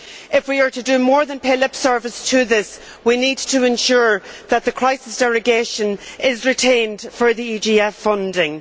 If we are to do more than pay lip service to this, we need to ensure that the crisis derogation is retained for the EGF funding.